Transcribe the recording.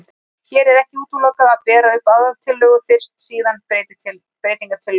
Hér er ekki útilokað að bera upp aðaltillögu fyrst og síðan breytingatillögu.